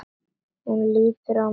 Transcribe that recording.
Hún lítur á mig.